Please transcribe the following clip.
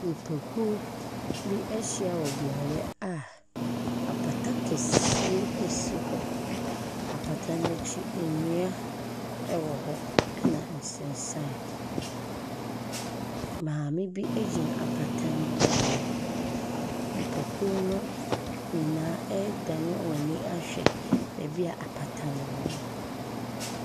Nnipakuo bi ahyia wɔ beaeɛ a apata kɛseɛ si hɔ. Apata no akyi nnua wɔ hɔ, ɛnna nsensan. Maame bi gyina apata no anim. Nnipakuo no nyinaa adane wɔn ani ahwɛ baabi a apata no wɔ no.